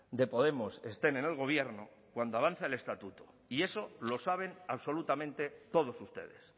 de podemos estén en el gobierno cuando avanza el estatuto y eso lo saben absolutamente todos ustedes